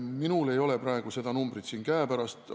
Minul ei ole seda numbrit siin käepärast.